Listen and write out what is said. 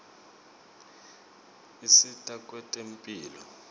usita kwetemphilo